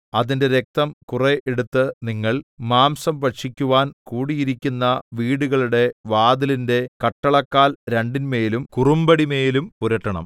അതിന്റെ രക്തം കുറെ എടുത്ത് നിങ്ങൾ മാംസം ഭക്ഷിക്കുവാൻ കൂടിയിരിക്കുന്ന വീടുകളുടെ വാതിലിന്റെ കട്ടളക്കാൽ രണ്ടിന്മേലും കുറുമ്പടിമേലുംപുരട്ടണം